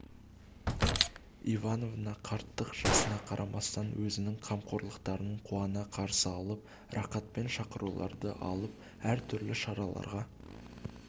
ивановна қарттық жасына қарамастан өзінің қамқоршыларын қуана қарсы алып рақатпен шақыруларды алып әр түрлі шараларға